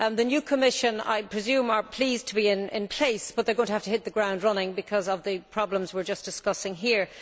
The new Commission, I presume, is pleased to be in place, but it is going to have to hit the ground running because of the problems we are discussing here.